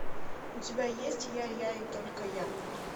у тебя есть я я и только я